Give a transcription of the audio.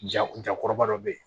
Jakɔrɔba dɔ be yen